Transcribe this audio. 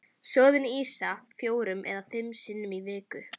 Soðin ýsa fjórum eða fimm sinnum í viku.